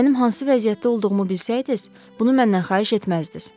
Mənim hansı vəziyyətdə olduğumu bilsəydiz, bunu məndən xahiş etməzdiz.